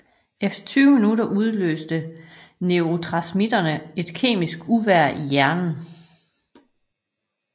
Efter tyve minutter udløste neurotransmittere et kemisk uvejr i hjernen